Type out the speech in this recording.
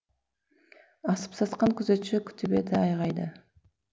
асып сасқан күзетші күтіп еді айғайды